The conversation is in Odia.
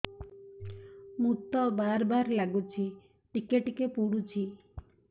ମୁତ ବାର୍ ବାର୍ ଲାଗୁଚି ଟିକେ ଟିକେ ପୁଡୁଚି